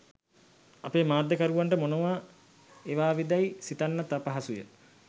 අපේ මාධ්‍යකරුවන්ට මොනවා එවාවිදැයි සිතන්නත් අපහසුය.